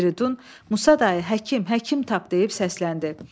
Firidun Musa dayı, həkim, həkim tap deyib səsləndi.